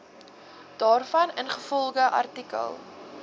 daarvan ingevolge artikel